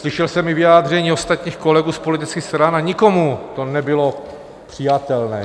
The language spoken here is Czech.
Slyšel jsem i vyjádření ostatních kolegů z politických stran a nikomu to nebylo přijatelné.